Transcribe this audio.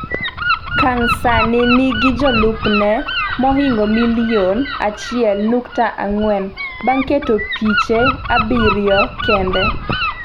Kang sani nigi jolupne mahingo milion 1.4 bang’ keto piche abiriyo kende.